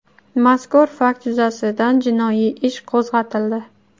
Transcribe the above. Mazkur fakt yuzasidan jinoyat ish qo‘zg‘atildi.